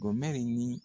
Ɔn mɛli ni